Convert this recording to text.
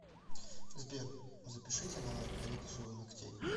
сбер запишите на коррекцию ногтей